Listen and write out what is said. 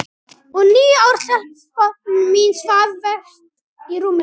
Og níu ára stelpan mín svaf vært í rúminu.